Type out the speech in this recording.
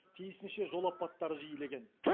тиісінше жол апаттары жиілеген